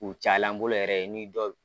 U caya la n bolo yɛrɛ ye n'i dɔw